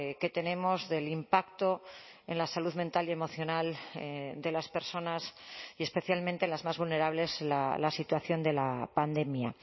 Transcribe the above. que tenemos del impacto en la salud mental y emocional de las personas y especialmente las más vulnerables la situación de la pandemia